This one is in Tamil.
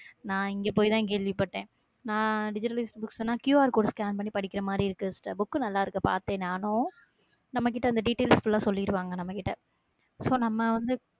நான் இங்கே போய்தான் கேள்விப்பட்டேன். நான் digitalized books னா QR code scan பண்ணி படிக்கிற மாதிரி இருக்கு sisterbook நல்லா இருக்கு பார்த்தேன் நானும் நம்ம கிட்ட அந்த details full ஆ சொல்லிடுவாங்க, நம்ம கிட்ட so நம்ம வந்து